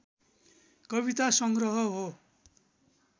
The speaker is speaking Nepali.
कवितासङ्ग्रह हो